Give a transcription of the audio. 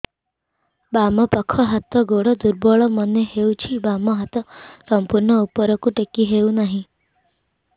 ବାମ ପାଖ ହାତ ଗୋଡ ଦୁର୍ବଳ ମନେ ହଉଛି ବାମ ହାତ ସମ୍ପୂର୍ଣ ଉପରକୁ ଟେକି ହଉ ନାହିଁ